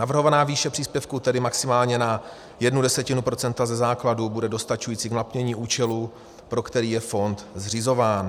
Navrhovaná výše příspěvku, tedy maximálně na jednu desetinu procenta ze základu, bude dostačující k naplnění účelu, pro který je fond zřizován.